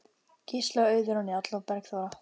Gísli og Auður og Njáll og Bergþóra.